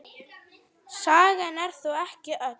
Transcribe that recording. Sagan er þó ekki öll.